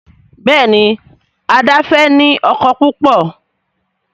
Béèni Ada fè ní ọkọ púpọ.